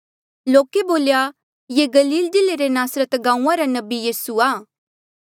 लोके बोल्या ये गलील जिल्ले रे नासरत गांऊँआं रा नबी यीसू आ